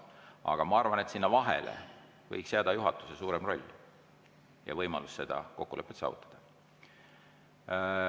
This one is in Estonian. Aga ma arvan, et sinna vahele võiks jääda juhatuse suurem roll ja võimalus seda kokkulepet saavutada.